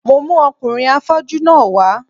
Mo mú ọkùnrin afọ́jú náà wá